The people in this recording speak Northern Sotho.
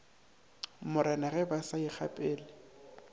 morena ge ba sa ikgapele